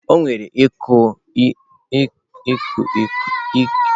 O nwere ike ịkụ ntu ndị ahụ n'ime osisi ma emechaa.